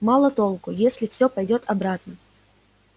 мало толку если все пойдёт обратно